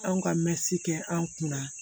Anw ka mɛtiri kɛ an kunna